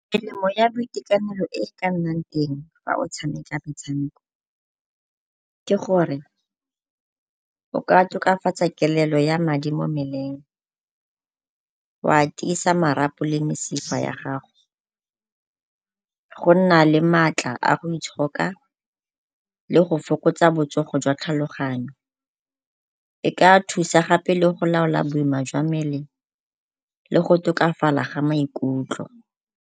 Melemo ya boitekanelo e e ka nnang teng fa o tshameka metshameko ke gore o ka tokafatsa kelelo ya madi mo mmeleng, wa tiisa marapo le mesifa ya gago, go nna le maatla a go itshoka, le go fokotsa botsogo jwa tlhaloganyo. E ka thusa gape le go laola boima jwa mmele le go tokafala ga maikutlo.